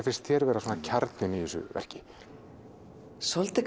finnst þér vera kjarninn í þessu verki svolítið